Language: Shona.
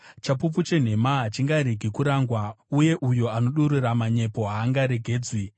Chapupu chenhema hachingaregi kurangwa, uye uyo anodurura manyepo haangaregedzwi.